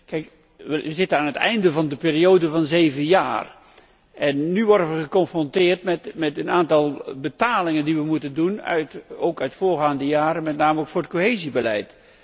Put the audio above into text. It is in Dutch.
Wij zitten aan het einde van de periode van zeven jaar en nu worden wij geconfronteerd met een aantal betalingen die wij moeten doen, ook uit voorgaande jaren, met name voor het cohesiebeleid.